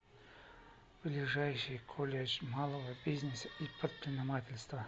ближайший колледж малого бизнеса и предпринимательства